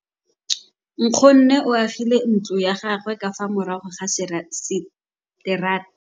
Nkgonne o agile ntlo ya gagwe ka fa morago ga seterata sa rona.